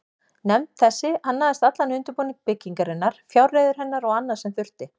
Nefnd þessi annaðist allan undirbúning byggingarinnar, fjárreiður hennar og annað, sem þurfti.